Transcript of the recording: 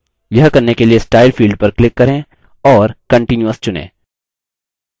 यह करने के लिए style field पर click करें और continuous चुनें